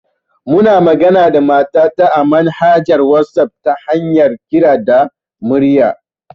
Muna managa da mata ta a manhaja ta wasaf ta hanyar kira da murya